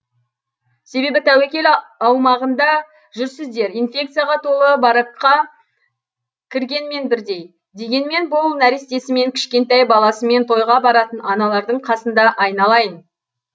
себебі тәуекел аумағында жүрсіздер инфекцияға толы баракқа кіргенмен бірдей дегенмен бұл нәрестесімен кішкентай баласымен тойға баратын аналардың қасында айналайын